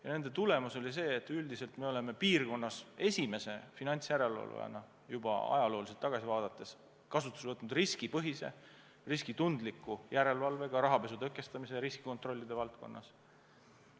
Ja nende tulemus oli see, et me oleme piirkonnas esimese finantsjärelevalvajana juba ajalooliselt tagasi vaadates kasutusele võtnud riskipõhise, riskitundliku järelevalve, seda ka rahapesu tõkestamise ja riski kontrollide valdkonnas.